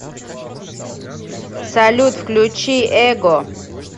салют включи эго